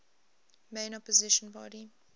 main opposition party